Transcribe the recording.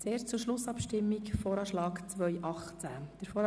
Zuerst zur Schlussabstimmung über den VA 2018.